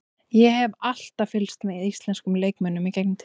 Ég hef alltaf fylgst með íslenskum leikmönnum í gegnum tíðina.